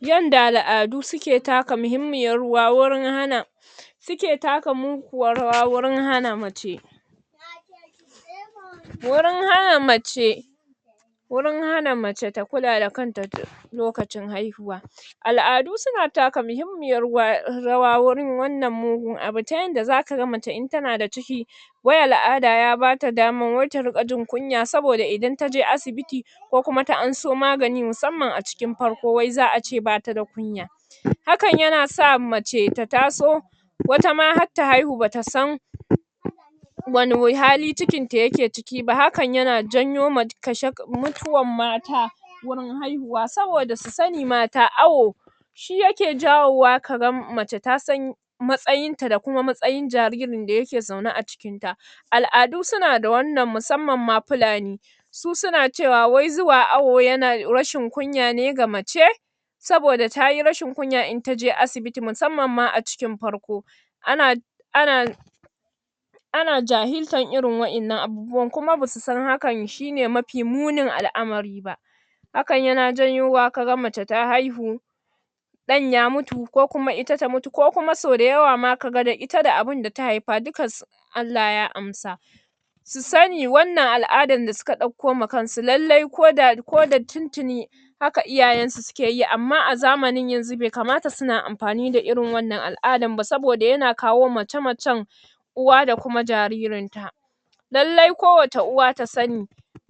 Yadda al'adu suke taka mahimmiyar ruwa wurin hana suke taka muguwar rawa wajan hana mace wurin hana mace wurin hana mace ta kula da kanta, lokacin haihuwa al'adu suna taka mahimmiyar ruwa, rawa warin wannan mugun abu ta yadda zaka ga mace in tana da ciki wai al'ada ya bata dama wai ta riƙa jin kunya saboda idan taje asibiti ko kuma ta anso maganin musamman a cikin farko wai za'a ce bata da kunya hakan yana sa mace ta taso wata ma har ta haihu bata san wane we hali cikin ta yake ciki ba, hakan yana janyo ma kashe kashe, mutuwar mata wurin haihuwa saboda su sani mata awo shi yake jawo wa kaga mace tasan matsayin ta da kuma matsayin jaririn da yake zaune a cikin ta al'adu suna da wannan musammam ma fulani su suna cewa wai zuwa awo yana rashin kunya ne ga mace saboda tayi rashin kunya in taje asibiti musammam ma a cikin farko ana ana ana jahirlar irin waɗannan abubuwan kuma basu san hakan shine mafi munin alamari ba hakan yana janyowa kaga mace ta haihu dan ya mutu, ko kuma ita ta mutu ko kuma sau da yawa ma da ita da abun da ta haifa duka sun Allh ya amsa su sani wannna al'adar da suka ɗaukoma kansu lallai ko da, ko da tuntuni haka iyayen su suke yi amma a zaman yanzu bai kamata suna amfani da irin wannan al'adar ba saboda yana kawo mace macen uwa da kuma jaririn ta lallai kowacce uwa ta sani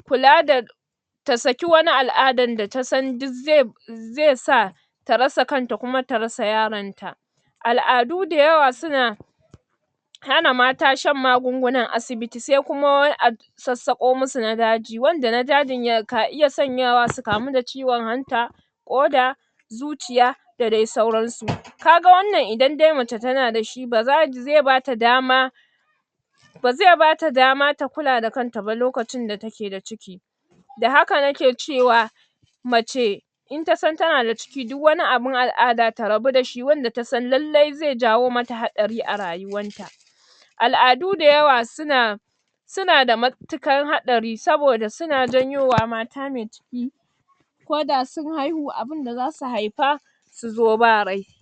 kula da ta saki wani al'adar da tasan duk ze zesa ta rasa kanta kuma ta rasa yaron ta al'adu da yawa suna hana mata shan magungunan asibiti sai kuma wani abu sassaƙo musu na daji, wanda na dajin ya ka iya sanyawa su kamu da ciwon hanta ƙoda zuciya da dai sauransu kaga wannan idan dai mace tana da shi ba za zai bata dama ba zai bata dama ta kula da kanta ba lokacin da take da ciki da haka nake cewa mace in tasan tana da ciki duk wani abun al'ada ta rabu dashi wanda tasan lallai zai jawo mata haɗari a rayuwar ta al'adu da yawa suna suna da matuƙar haɗari saboda suna janyowa mata mai ciki ko da sun haihu abinda zasu haifa suzo ba rai